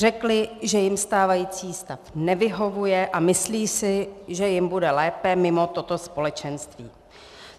Řekli, že jim stávající stav nevyhovuje, a myslí si, že jim bude lépe mimo toto společenství.